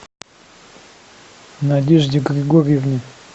надежде григорьевне